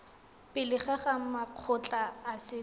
pele ga makgotla a setso